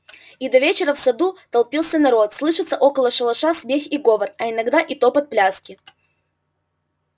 и до вечера в саду толпится народ слышится около шалаша смех и говор а иногда и топот пляски